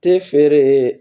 Te feere